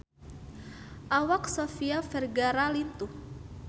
Awak Sofia Vergara lintuh